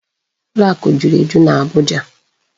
Ụlọ akụ juru eju n'Abuja.